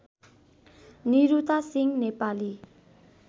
Niruta Singh Nepali